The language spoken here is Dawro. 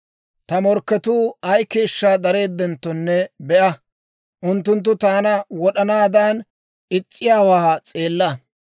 Ta morkketuu ay keeshshaa dareeddenttonne be'a; unttunttu taana wod'anaadan is's'iyaawaa s'eella.